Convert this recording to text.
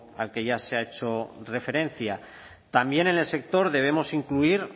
al que ya se ha hecho referencia también en el sector debemos incluir